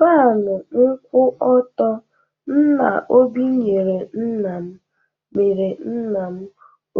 Fanụ nkwụ ọtọ nna Obi nyere nna m mere nna m